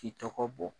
K'i tɔgɔ bɔ